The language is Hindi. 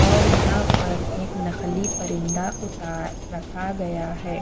और यहाँ पर एक नखली परिंदा उता रखा गया है।